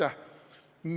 Aitäh!